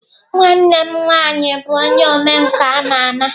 Nwanne m nwanyi bu onye omenka ama ama.